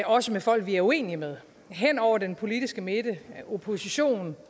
også med folk vi er uenige med hen over den politiske midte oppositionen